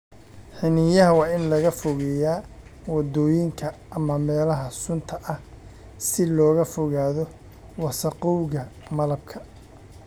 Xiniinyaha waa in laga fogeeyaa waddooyinka ama meelaha sunta ah si looga fogaado wasakhowga malabka.